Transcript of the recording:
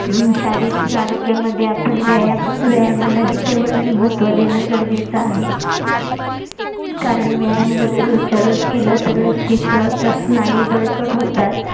अं शारीरिक आरोग्यामध्ये आपण व्यायाम व्यायामाला ही तेवढच महत्व देणं गरजेच आहे कारण व्यायाम जर रोजच्या रोज केला तर व्यक्तिच स्नायू बळकट होतात